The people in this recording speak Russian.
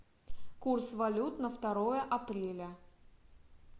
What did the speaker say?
курс валют на второе апреля